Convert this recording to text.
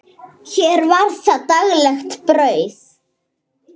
Hér var það daglegt brauð.